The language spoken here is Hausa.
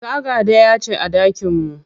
Taga ɗaya ce a ɗakin mu.